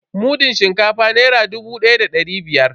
Mudun shinkafa naira dubu da dari biyar.